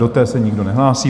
Do té se nikdo nehlásí.